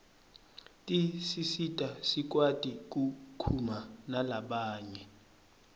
tisisita sikwati kukhuma nalabanye